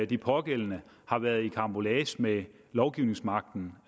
de pågældende har været i karambolage med lovgivningsmagten